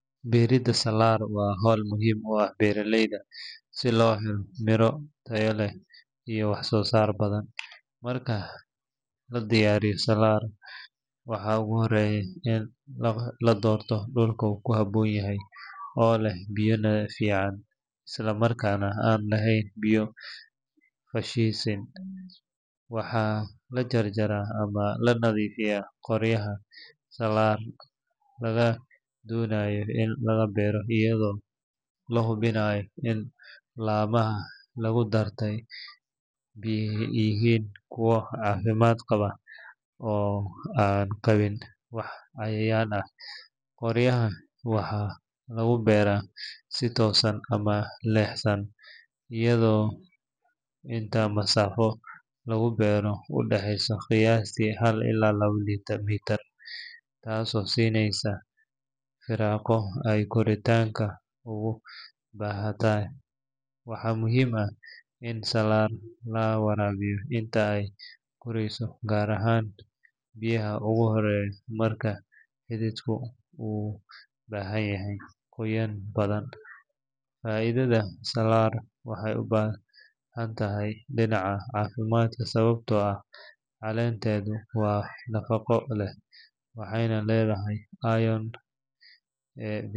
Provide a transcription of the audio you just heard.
Beridda salaar waa hawl muhiim u ah beeralayda si loo helo miro tayo leh iyo wax-soo-saar badan. Marka la diyaarinayo salaar, waxaa ugu horreeya in la doorto dhul ku habboon oo leh biyo fiican isla markaana aan lahayn biyo fadhiisin. Waxaa la jarjaraa ama la nadiifiyaa qoryaha salaar laga doonayo in laga beero, iyadoo la hubinayo in laamaha laga doortay yihiin kuwo caafimaad qaba oo aan qabin wax cayayaan ah. Qoryaha waxaa lagu beeraa si toosan ama leexsan iyadoo masaafo lagu beero u dhexeysa qiyaastii hal ilaa laba mitir, taasoo siinaysa firaaqo ay koritaanka ugu baahantahay. Waxaa muhiim ah in salaar la waraabiyo inta ay korayso, gaar ahaan bilaha ugu horreeya marka xididku u baahan yahay qoyaan badan. Faa’iidada salaar waxay u badan tahay dhinaca caafimaadka sababtoo ah caleenteedu waa nafaqo leh waxayna leedahay iron, vitamin A.